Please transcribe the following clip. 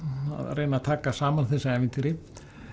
reyna að taka saman þessi ævintýri